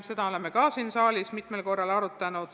Seda oleme ka siin saalis mitmel korral arutanud.